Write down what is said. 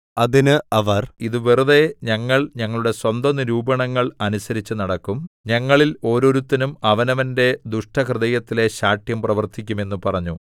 അതിന് അവർ ഇതു വെറുതെ ഞങ്ങൾ ഞങ്ങളുടെ സ്വന്ത നിരൂപണങ്ങൾ അനുസരിച്ചു നടക്കും ഞങ്ങളിൽ ഓരോരുത്തനും അവനവന്റെ ദുഷ്ടഹൃദയത്തിലെ ശാഠ്യം പ്രവർത്തിക്കും എന്ന് പറഞ്ഞു